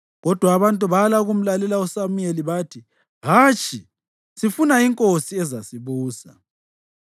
Kodwa abantu bala ukumlalela uSamuyeli. Bathi, “Hatshi! Sifuna inkosi ezasibusa.